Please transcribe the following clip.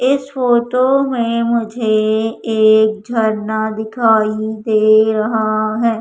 इस फोटो मे मुझे एक झरना दिखाई दे रहा है।